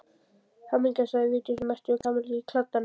Hamingja sagði Vigdís og merkti við Kamillu í kladdanum.